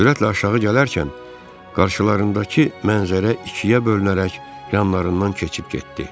Sürətlə aşağı gələrkən qarşılarındakı mənzərə ikiyə bölünərək yanlarından keçib getdi.